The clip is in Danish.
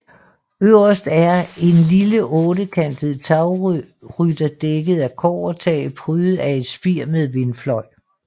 Øverst er en lille ottekantet tagrytter dækket af kobbertag prydet af et spir med vindfløj